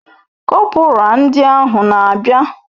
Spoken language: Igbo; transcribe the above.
Kọpura ndị ahụ na abia